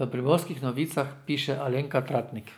v Primorskih novicah piše Alenka Tratnik.